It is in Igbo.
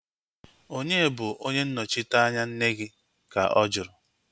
Onye bụ onye nnọchiteanya nne? Ka ọ juru